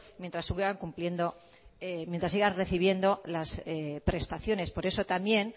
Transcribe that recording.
mientras sigan recibiendo las prestaciones por eso también